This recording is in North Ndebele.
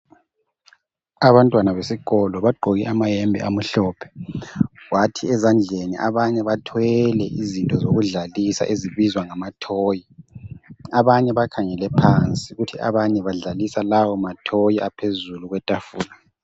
Abantwana besikolo bagqoke amayembe amuhlophe. Kwathi ezandleni abanye abathwele izinto zokudlalisa ezibizwa nama-toy. Abanye bakhangele phansi kuthi abanye badlalisa lawo ma-toy. aphezulu kwetafula.